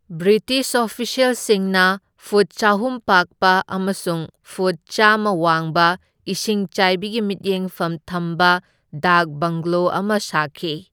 British ꯑꯣꯐꯤꯁ꯭ꯌꯦꯜꯁꯤꯡꯅ ꯐꯨꯠ ꯆꯍꯨꯝ ꯄꯥꯛꯄ ꯑꯃꯁꯨꯡ ꯐꯨꯠ ꯆꯥꯝꯃ ꯋꯥꯡꯕ ꯏꯁꯤꯡꯆꯥꯏꯕꯤꯒꯤ ꯃꯤꯠꯌꯦꯡꯐꯝ ꯊꯝꯕ ꯗꯥꯛ ꯕꯪꯒꯂꯣ ꯑꯃ ꯁꯥꯈꯤ꯫